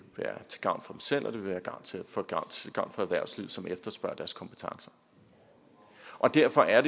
være til gavn selv og det vil være til gavn for erhvervslivet som efterspørger deres kompetencer derfor er